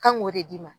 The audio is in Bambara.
Kan k'o de d'i ma